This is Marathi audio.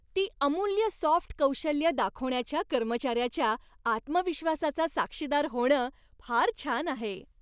ती अमूल्य सॉफ्ट कौशल्यं दाखवण्याच्या कर्मचाऱ्याच्या आत्मविश्वासाचा साक्षीदार होणं फार छान आहे.